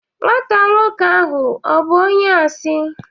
Nwata nwoke ahụ ọ̀ bụ onye asị?